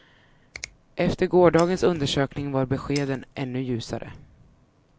Efter gårdagens undersökning var beskeden ännu ljusare.